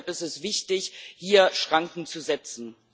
Und deshalb ist es wichtig, hier Schranken zu setzen.